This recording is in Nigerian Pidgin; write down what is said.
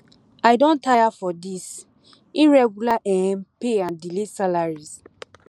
i don tire for this irregular um pay and delay salaries